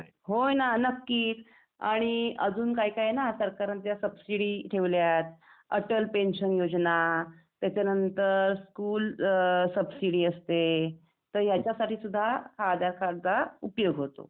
हो ना नक्कीच. आणि अजून काय काय आहे ना सरकारांच्या सबसिडी ठेवल्यात, अटल पेन्शन योजना, त्याच्यानंतर स्कुल सबसिडी असते तर ह्याच्यासाठी सुद्धा याआधारे कार्डचा उपयोग होतो.